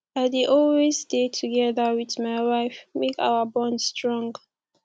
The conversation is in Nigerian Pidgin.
i dey always dey together wit my wife make our bond strong